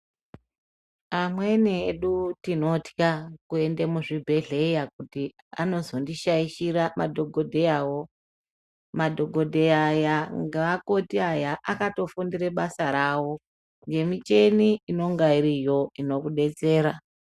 Amweni edu tinotya kuenda muzvibhehleya kuti anozondishaishira madhokodheyawo. Madhokodheya aya ngeakoti aya akatofundire basa rawo nemicheni inenge iriyo inokudetsera.